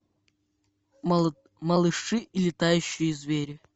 малыши и летающие звери